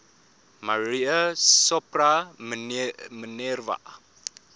maria sopra minerva